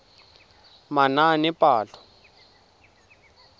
manaanepalo